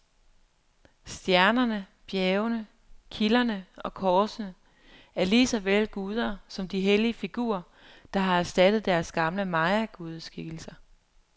Stjernerne, bjergene, kilderne og korsene er lige så vel guder som de hellige figurer, der har erstattet deres gamle mayagudeskikkelser.